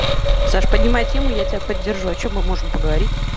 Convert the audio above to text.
саш поднимай тему я тебя поддержу о чем мы можем поговорить